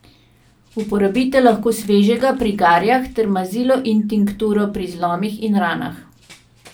Uporabite lahko svežega pri garjah ter mazilo in tinkturo pri zlomih in ranah.